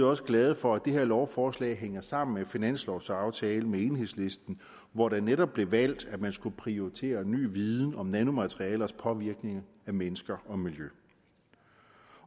også glade for at det her lovforslag hænger sammen med finanslovsaftalen med enhedslisten hvor det netop blev valgt at man skulle prioritere ny viden om nanomaterialers påvirkning af mennesker og miljø